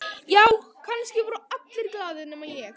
Já, kannski voru allir glaðir nema ég.